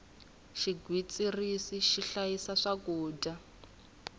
xigwitsirisi xi hlayisa swakudya